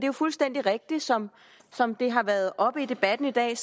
jo fuldstændig rigtigt som som det har været oppe i debatten i dag